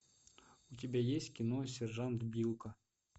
у тебя есть кино сержант билко